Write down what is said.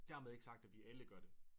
Dermed ikke sagt at vi alle gør det